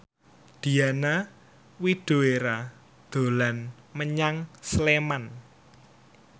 Diana Widoera dolan menyang Sleman